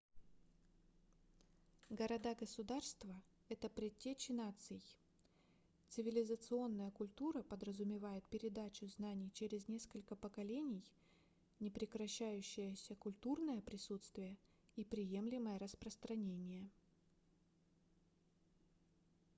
города-государства это предтечи наций цивилизационная культура подразумевает передачу знаний через несколько поколений непрекращающееся культурное присутствие и преемлимое распространение